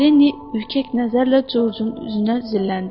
Linni ürkək nəzərlə Corcun üzünə zilləndi.